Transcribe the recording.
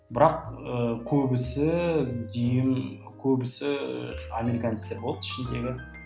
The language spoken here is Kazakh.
бірақ і көбісі дүйім көбісі ііі американецтер болды ішіндегі